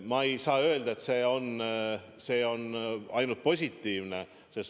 Ma ei saa öelda, et see on ainult positiivne.